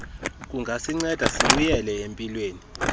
kungasinceda sibuyele empilweni